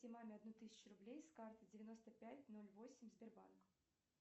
маме одну тысячу рублей с карты девяносто пять ноль восемь сбербанк